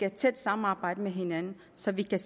et tæt samarbejde med hinanden så vi kan